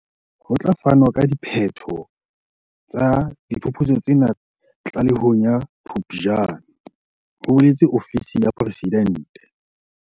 Ho tla fanwa ka diphetho tsa diphuputso tsena tlalehong ya Phuptjane, ho boletse ofisi ya Presidente.